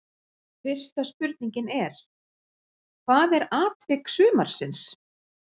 Fyrsta spurningin er: Hvað er atvik sumarsins?